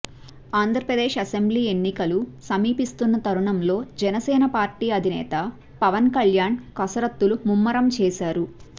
Andhra Pradesh assembly ఎన్నికలు సమీపిస్తున్న తరుణంలో జనసేన పార్టీ అధినేత పవన్ కళ్యాణ్ కసరత్తులు ముమ్మరం చేశారు